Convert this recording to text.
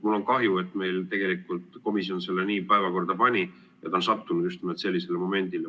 Mul on kahju, et komisjon meil selle nii päevakorda pani ja see on sattunud just nimelt sellisele momendile.